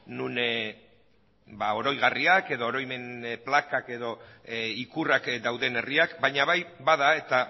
non oroigarriak edo oroimen plakak edo ikurrak dauden herriak baina bai bada eta